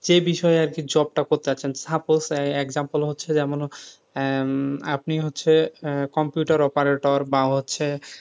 সে বিষয়ে আরকি job টা করতে যাচ্ছেন suppose example হচ্ছে আহ আপনি হচ্ছে computer operator বা হচ্ছে,